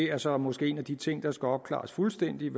er så måske en af de ting der skal opklares fuldstændigt